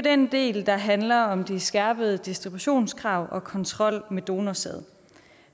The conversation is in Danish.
den del der handler om de skærpede distributionskrav og kontrollen med donorsæd